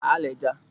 alịja